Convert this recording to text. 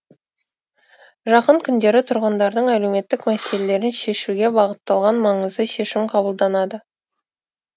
жақын күндері тұрғындардың әлеуметтік мәселелерін шешуге бағытталған маңызды шешім қабылданады